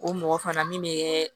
O mɔgɔ fana min bɛ